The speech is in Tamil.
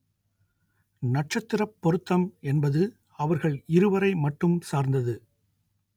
நட்சத்திரப் பொருத்தம் என்பது அவர்கள் இருவரை மட்டும் சார்ந்தது